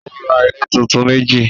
Ó ra ilé tuntun meji